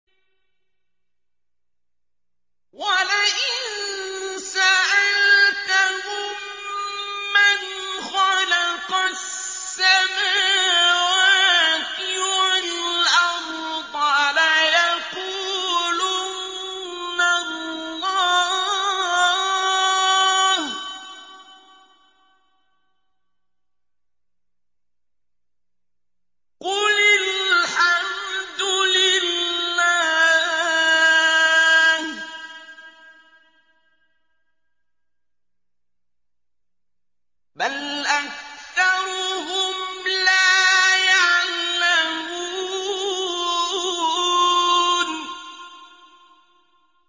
وَلَئِن سَأَلْتَهُم مَّنْ خَلَقَ السَّمَاوَاتِ وَالْأَرْضَ لَيَقُولُنَّ اللَّهُ ۚ قُلِ الْحَمْدُ لِلَّهِ ۚ بَلْ أَكْثَرُهُمْ لَا يَعْلَمُونَ